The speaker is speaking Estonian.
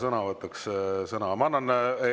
Moonika Helme, palun, vastusõnavõtt!